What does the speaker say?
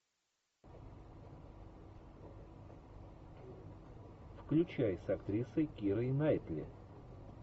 включай с актрисой кирой найтли